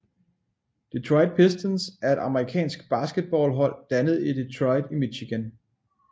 Detroit Pistons er et amerikansk basketballhold dannet i Detroit i Michigan